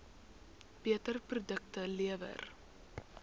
beter produkte lewer